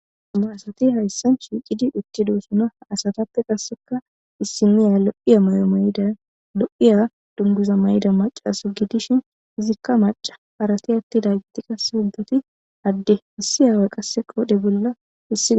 Amuwarsati hayssan shiicidi itti dosona asatappe qasseka issiniya lo7iya may7o mayda lo7iya dunguza mayida macaso gidishin izikka maca harati atti daagiti qase hubdati adde hissi aawa qasse qoodhe bolla hissigi.